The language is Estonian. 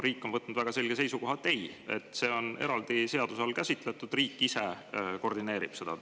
Riik on võtnud väga selge seisukoha, et ei, see on eraldi seaduse all käsitletud, riik ise koordineerib seda.